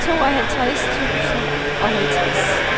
tooghalvtreds tusind og halvtreds